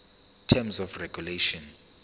terms of regulation